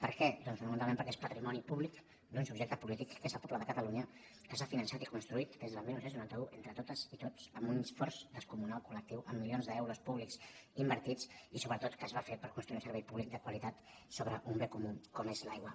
per què doncs perquè nosaltres entenem que és patrimoni públic d’un subjecte polític que és el poble de catalunya que s’ha finançat i construït des del dinou noranta u entre totes i tots amb un esforç descomunal col·lectiu amb milions d’euros públics invertits i sobretot que es va fer per construir un servei públic de qualitat sobre un bé comú com és l’aigua